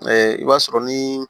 i b'a sɔrɔ ni